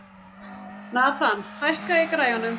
Nathan, hækkaðu í græjunum.